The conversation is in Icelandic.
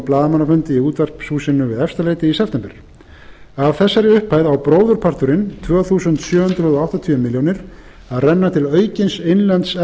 blaðamannafundi í útvarpshúsinu við efstaleiti í september af þessari upphæð á bróðurparturinn tvö þúsund sjö hundruð áttatíu milljónir króna að renna til aukins innlends